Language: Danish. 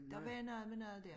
Der var noget med noget dér